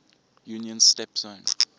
union's steppe zone